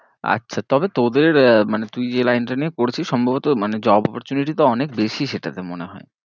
আচ্ছা তবে তোদের মানে তুই যেই line টা নিয়ে পড়ছিস সম্ভবত মানে job opportunity তো অনেক বেশি সেটাতে মনে হয়ে।